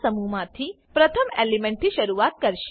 ના સમૂહ માંથી પ્રથમ એલિમેન્ટ થી શરૂઆત કરશે